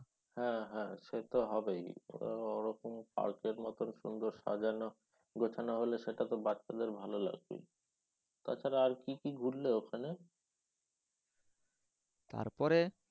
হ্যাঁ হ্যাঁ সে তো হবেই। ওরা ওরকম পার্কের মতন সুন্দর সাজানো। সেখানে হলে বাচ্ছাদের ভালো লাগবেই। তাছাড়া আর কি কি ঘুরলে ওখানে। তারপরে